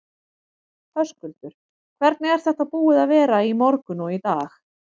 Höskuldur: Hvernig er þetta búið að vera í morgun og í dag?